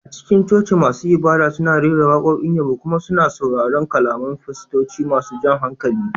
A cikin coci, masu ibada suna rera waƙoƙin yabo kuma suna sauraron kalaman fastoci masu jan hankali